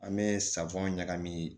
An bɛ safunɛ ɲagami